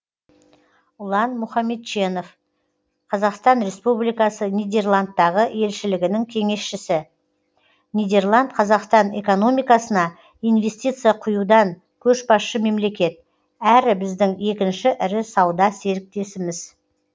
ұлан мұхамедченов қазақстан республикасының нидерландтағы елшілігінің кеңесшісі нидерланд қазақстан экономикасына инвестиция құюдан көшбасшы мемлекет әрі біздің екінші ірі сауда серіктесіміз